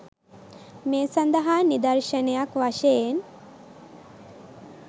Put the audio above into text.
මේ සඳහා නිදර්ශනයක් වශයෙන්